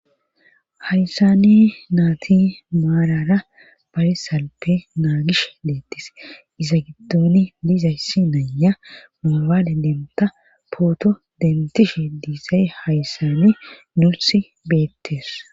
hayssani naati maarara barisalpe naagish deettis iza giddoni lizayssi naya moobaale denta pooto dentishe diisay hayssani nursi beettes